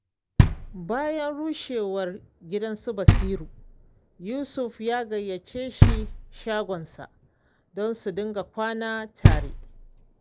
Bayan rushewar gidan su Basiru, Yusuf ya gayyace shi shagonsa, don su dinga kwana tare.